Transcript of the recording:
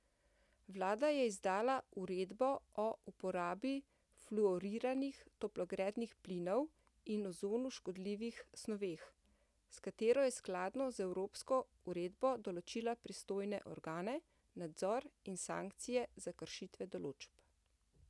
Vlada je izdala uredbo o uporabi fluoriranih toplogrednih plinov in ozonu škodljivih snoveh, s katero je skladno z evropsko uredbo določila pristojne organe, nadzor in sankcije za kršitve določb.